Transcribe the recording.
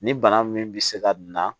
Ni bana min bɛ se ka na